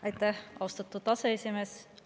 Aitäh, austatud aseesimees!